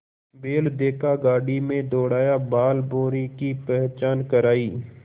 बैल देखा गाड़ी में दौड़ाया बालभौंरी की पहचान करायी